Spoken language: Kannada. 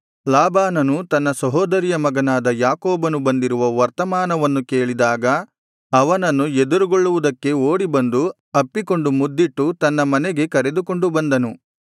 ಲಾಬಾನನು ತನ್ನ ಸಹೋದರಿಯ ಮಗನಾದ ಯಾಕೋಬನು ಬಂದಿರುವ ವರ್ತಮಾನವನ್ನು ಕೇಳಿದಾಗ ಅವನನ್ನು ಎದುರುಗೊಳ್ಳುವುದಕ್ಕೆ ಓಡಿಬಂದು ಅಪ್ಪಿಕೊಂಡು ಮುದ್ದಿಟ್ಟು ತನ್ನ ಮನೆಗೆ ಕರೆದುಕೊಂಡು ಬಂದನು